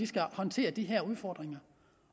skal håndtere de her udfordringer